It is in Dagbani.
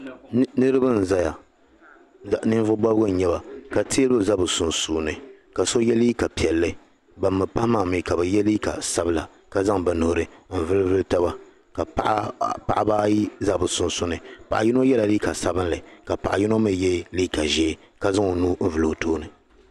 Niriba n-zaya. Ninvuɣ' bɔbigu n-nyɛ ba ka teebuli za bɛ sunsuuni ka so ye liika piɛlli. Ban mi pahi maa mi ka bɛ ye liika sabila ka zaŋ bɛ nuhi n-vulivuli taba ka paɣiba ayi za bɛ sunsuuni. Paɣ' yino yɛla liika sabilinli ka paɣ' yino mi ye liika ʒee ka zaŋ o nuhi n-vuli o tooni.